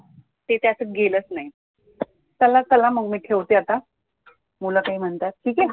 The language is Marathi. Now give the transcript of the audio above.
ते त्याच गेलंच नाही. चला चला मग मी ठेवते आता, मुलं काही म्हणतात ठीक आहे